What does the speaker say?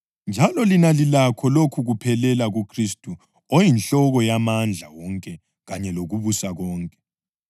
njalo lina lilakho lokhu kuphelela kuKhristu oyinhloko yamandla wonke kanye lokubusa konke.